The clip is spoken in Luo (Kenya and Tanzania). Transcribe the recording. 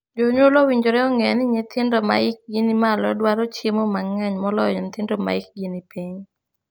Jonyuol owinjore ong'e ni nyithindo ma hikgi ni malo dwaro chiemo mang'eny moloyo nyithindo ma hikgi ni piny.